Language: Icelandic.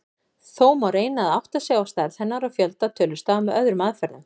Þó má reyna að átta sig á stærð hennar og fjölda tölustafa með öðrum aðferðum.